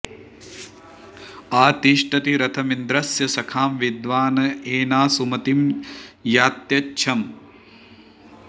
आ ति॑ष्ठति॒ रथ॒मिन्द्र॑स्य॒ सखा॑ वि॒द्वाँ ए॑ना सुम॒तिं या॒त्यच्छ॑